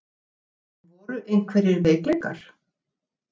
En voru einhverjir veikleikar?